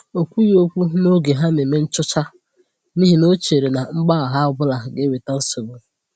O kwughi okwu n’oge ha na-eme nchọ̀chá, n’ihi na ọ chèrè na mgbagha ọbụla gà-ewètà nsogbu